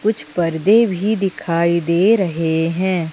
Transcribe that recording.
कुछ पर्दे भी दिखाई दे रहें हैं।